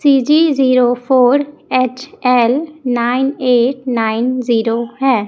C G zero four H L nine eight nine zero हैं।